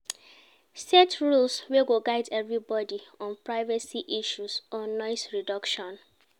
Set rules wey go guide everybody on privacy issues or noise reduction